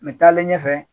N bɛ taalen ɲɛfɛ